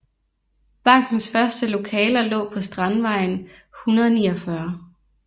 Bankens første lokaler lå på Strandvejen 149